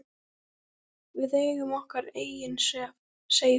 Við eigum okkar eigin Seif.